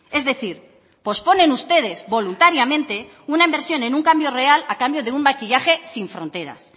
es decir posponen ustedes voluntariamente una inversión en un cambio real a cambio de un maquillaje sin fronteras